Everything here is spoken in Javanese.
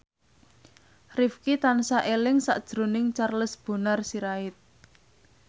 Rifqi tansah eling sakjroning Charles Bonar Sirait